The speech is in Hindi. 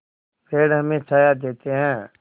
पेड़ हमें छाया देते हैं